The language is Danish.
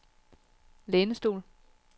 lænestol